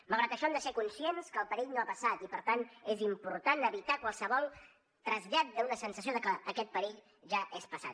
malgrat això hem de ser conscients que el perill no ha passat i per tant és important evitar qualsevol trasllat d’una sensació de que aquest perill ja és passat